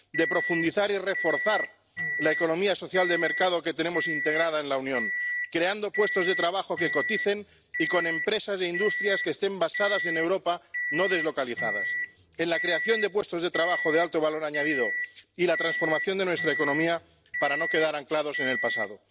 de profundizar y reforzar la economía social de mercado que tenemos integrada en la Unión, creando puestos de trabajo que coticen y con empresas e industrias que estén basadas en Europa, no deslocalizadas de crear puestos de trabajo de alto valor añadido y de transformar nuestra economía para no quedar anclados en el pasado.